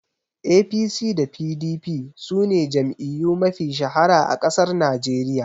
APC da PDP sune jam'iyyu mafi shahara a ƙasar Najeriya